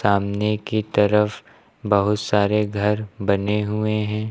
सामने की तरफ बहुत सारे घर बने हुए हैं।